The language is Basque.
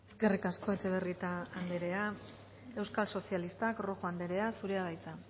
eskerrik asko etxebarrieta anderea euskal sozialistak rojo anderea zurea da hitza